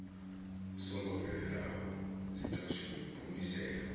songo fhelelaho dzi ḓo humiselwa